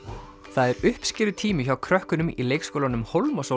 það er uppskerutími hjá krökkunum í leikskólanum